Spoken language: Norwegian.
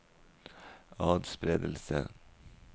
atspredelse